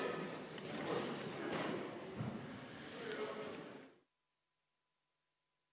Istungi lõpp kell 19.06.